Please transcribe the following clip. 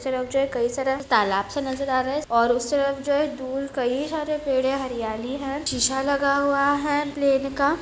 उस तरफ जो है कई सारे तालाब से नजर अ रहे है और उस तरफ जो है दूर कई सारे पेड़ है हरियाली है शीशा लगा हुआ है प्लेन का।